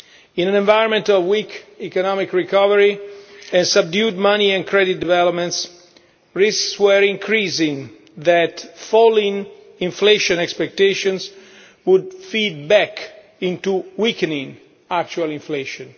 In an environment of weak economic recovery and subdued money and credit developments, risks were increasing that falling inflation expectations would feed back into weakening actual inflation.